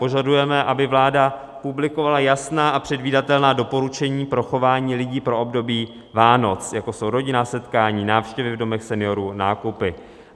Požadujeme, aby vláda publikovala jasná a předvídatelná doporučení pro chování lidí pro období Vánoc, jako jsou rodinná setkání, návštěvy v domovech seniorů, nákupy.